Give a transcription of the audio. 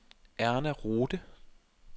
Erna Rohde